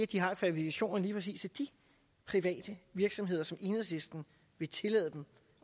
de har kvalifikationerne præcis de private virksomheder som enhedslisten vil tillade dem